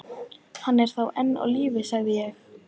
Hann er þá enn á lífi sagði ég.